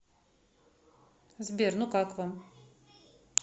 сбер ну как вам